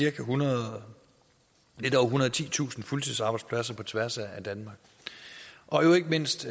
ethundrede og titusind fuldtidsarbejdspladser på tværs af danmark og jo ikke mindst